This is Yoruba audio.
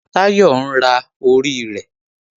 Táyọ̀ ń ra orí rẹ̀